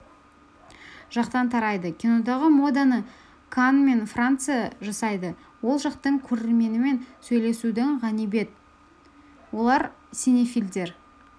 жақтан тарайды кинодағы моданы канн мен франция жасайды ол жақтың көрерменімен сөйлесудің ғанибет олар синефилдер